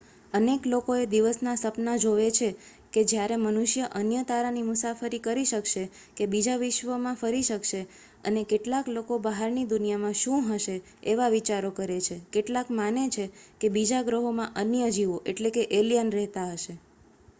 અનેક લોકો એ દિવસના સપના જોવે છે કે જ્યારે મનુષ્ય અન્ય તારાની મુસાફરી કરી શકશે કે બીજા વિશ્વમાં ફરી શકશે અને કેટલાક લોકો બહારની દુનિયામાં શું હશે એવા વિચારો કરે છે કેટલાક માને છે કે બીજા ગ્રહોમાં અન્ય જીવો કે એલિયન રહેતા હશે